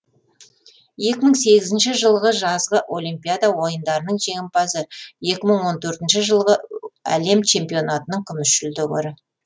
екі мың сегізінші жылғы жазғы олимпиада ойындарының жеңімпазы екі мың он төртінші жылғы әлем чемпионатының күміс жүлдегері